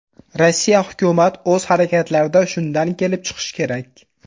Rossiya hukumat o‘z harakatlarida shundan kelib chiqishi kerak.